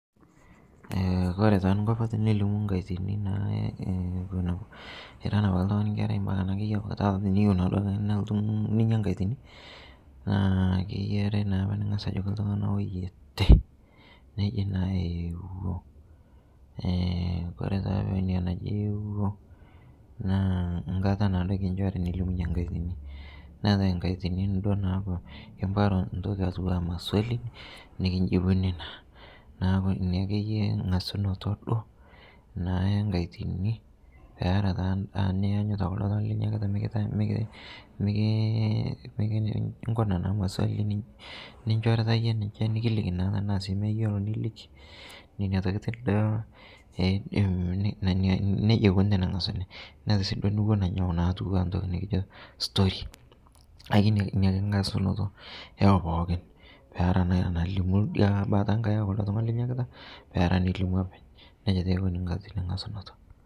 Ore taa enkop teniyieu ninyia enkatini naa eng'as Ajo oyieote naa pee elimu enkatini naa ore pee eje ewuo naa enkata kinjoki nilimunye enkatini naa keetae enaijio maswali nikijibuni naa neeku ena engasunoto enkatini etaa endaa niyanyita ninjotu eyie maswali nikiliki kulo tung'ana Nena tokitin naa nejia eyia engasunoto ee pookin